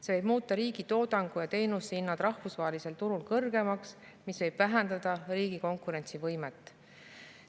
See võib muuta riigi toodangu ja teenuste hinnad rahvusvahelisel turul kõrgemaks, mis võib vähendada riigi konkurentsivõimet.